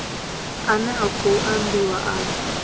ane a khou ambiwa afha